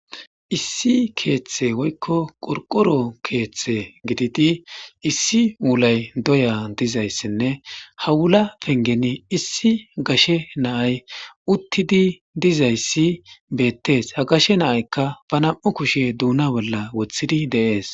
Issi keeththe woykko qorqoro keeththe gididi issi wulay doya dizayssinne ha wula pengeni issi gashe naay uttidi dizayssi beettees ha gashe naaykka ba nam'u kushe duuna bolla woththidi deees.